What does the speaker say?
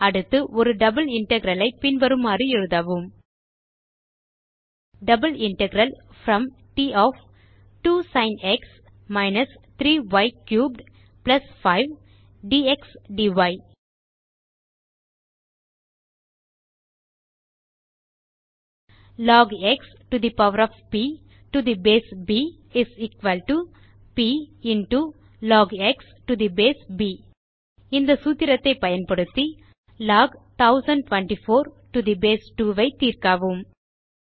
அடுத்து ஒரு double integral ஐ பின் வருமாறு எழுதவும் double integral from t of 2 sin x - 3 y cubed 5 dx dy இந்த சூத்திரத்தை பயன்படுத்தி log x to the power of b to the base b is equal to b into log x to the base b log 1024 to the base 2 ஐ தீர்க்கவும்